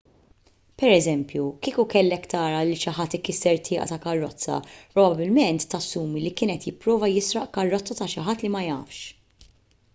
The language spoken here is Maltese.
pereżempju kieku kellek tara lil xi ħadd ikisser tieqa ta' karozza probabbilment tassumi li kien qed jipprova jisraq karozza ta' xi ħadd li ma jafx